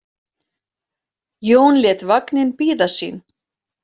Jón lét vagninn bíða sín.